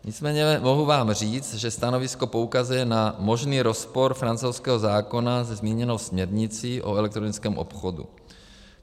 Nicméně mohu vám říct, že stanovisko poukazuje na možný rozpor francouzského zákona se zmíněnou směrnicí o elektronickém obchodu.